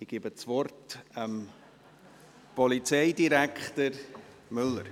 Ich gebe das Wort Polizeidirektor Müller.